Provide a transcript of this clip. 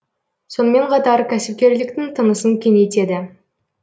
сонымен қатар кәсіпкерліктің тынысын кеңейтеді